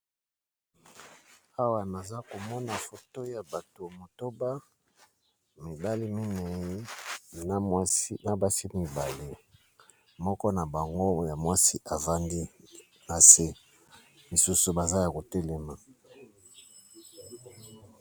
Awa naza komona foto ya bato motoba, mibale minei na basi mibali, moko na bango ya mwasi evandi na se, misusu baza ya kotelema.